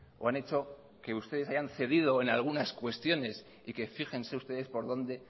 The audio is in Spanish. o han hecho que ustedes hayan cedido en algunas cuestiones y que fíjense ustedes por donde